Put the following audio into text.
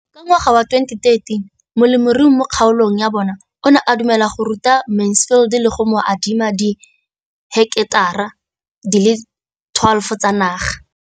Ka ngwaga wa 2013, molemirui mo kgaolong ya bona o ne a dumela go ruta Mansfield le go mo adima di heketara di le 12 tsa naga.